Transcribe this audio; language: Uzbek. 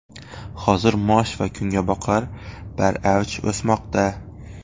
Hozir mosh va kungaboqar baravj o‘smoqda.